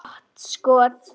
Gott skot.